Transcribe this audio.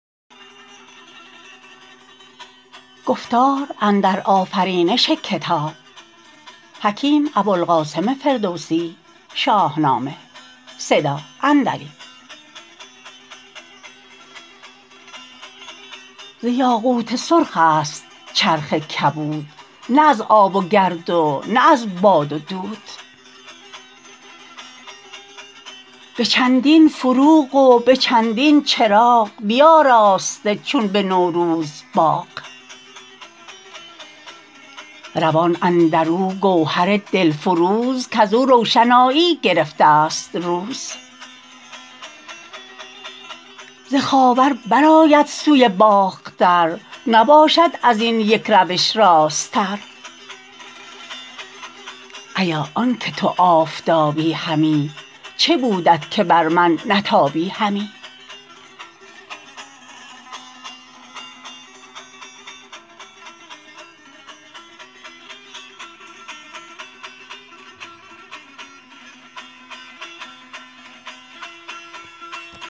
ز یاقوت سرخ است چرخ کبود نه از آب و گرد و نه از باد و دود به چندین فروغ و به چندین چراغ بیاراسته چون به نوروز باغ روان اندر او گوهر دل فروز کز او روشنایی گرفته است روز ز خاور بر آید سوی باختر نباشد از این یک روش راست تر ایا آن که تو آفتابی همی چه بودت که بر من نتابی همی